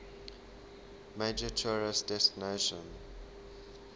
major tourist destination